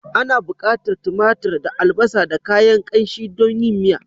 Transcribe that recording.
Ana bukatar timatir da albasa da kayan kanshi don yin miya.